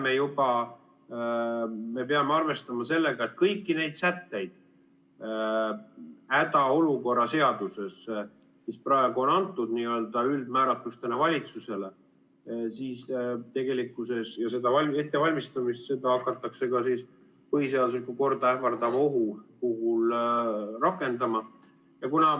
Järelikult me peame arvestama sellega, et kõiki neid sätteid hädaolukorra seaduses, mis praegu on antud n-ö üldmääratlustena valitsusele, ja seda ettevalmistamist, seda hakatakse ka põhiseaduslikku korda ähvardava ohu puhul rakendama.